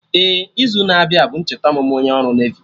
Ee, izu na-abịa bụ ncheta ọmụmụ onye ọrụ Nevi